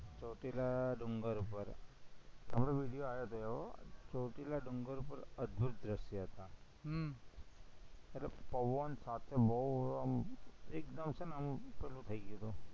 ચોટીલા ડુંગર ઉપર હમણાં video આયો તો ચોટીલા ડુંગર ઉપર અદભુત દ્રશ્યો હતા, હમ એટલે પવન સાથે બોવ આમ એકદમ છે ને આમ પેલું થઇ ગયું તું